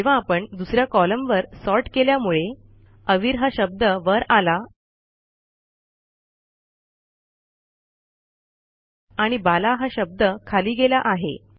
जेव्हा आपण दुस या कॉलमवर सॉर्ट केल्यामुळे अवीर हा शब्द वर आला आणि बाला हा शब्द खाली गेला आहे